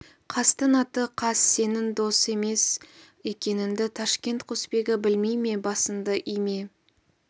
қастың аты қас сенің дос емес екеніңді ташкент құсбегі білмей ме басыңды име